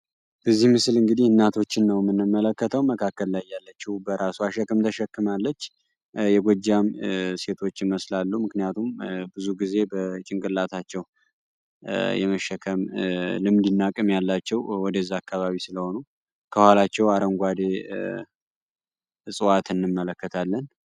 እዚህ ምስል እንግዲህ እናቶችን ነው የምንመለከተው። መካከል ላይ ያለችው በራሷ ሸክም ተሸክማለች የጎጃም ሴቶች ይመስላሉ ምክንያቱም ብዙውን ጊዜ በጭንቅላታቸው የመሸከም ልምድ እና ሀቅም ያላቸውወደዛ አካባቢ ስለሆኑ። ከኋላቸው አረንጓዴ እፅዋት እንመለከታለን።